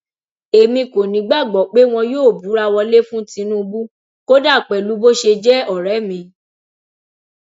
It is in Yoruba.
èmi kò nígbàgbọ pé wọn yóò búra wọlé fún tinubu kódà pẹlú bó ṣe jẹ ọrẹ mi